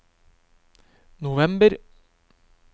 november